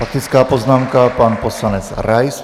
Faktická poznámka pan poslanec Rais.